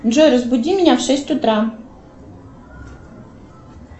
джой разбуди меня в шесть утра